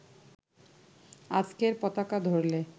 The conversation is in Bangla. আজকের পতাকা ধরলে